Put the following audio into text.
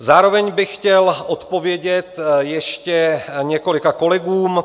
Zároveň bych chtěl odpovědět ještě několika kolegům.